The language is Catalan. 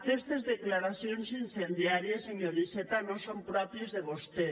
aquestes declaracions incendiàries senyor iceta no són pròpies de vostè